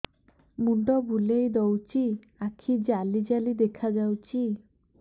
ମୁଣ୍ଡ ବୁଲେଇ ଦଉଚି ଆଖି ଜାଲି ଜାଲି ଦେଖା ଯାଉଚି